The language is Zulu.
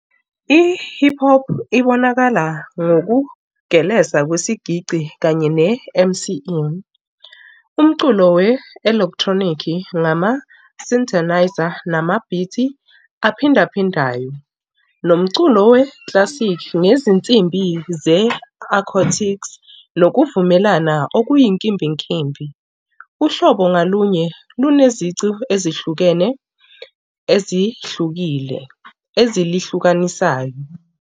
I-hip hop ibonakala ngokugeleza kwesigidi kanye ne-M_C_N. Umculo we-electronic-i ngama-synthenizer, namabhithi aphinda phindane. Nomculo we-classic nezinsimbi ze-acoustics nokuvumelana okuyinkimbinkimbi. Uhlobo ngalunye lunezici ezihlukene ezihlukile ezilihlukanisayo.